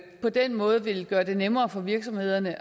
på den måde vil gøre det nemmere for virksomhederne